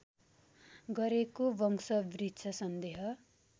गरेको वंशवृक्ष सन्देह